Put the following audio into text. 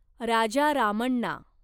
Raja Ramana